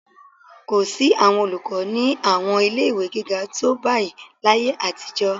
Kò sí àwọn olùkọ́ ní àwọn ilé-ìwé gíga tó báyìí láyé àtijọ́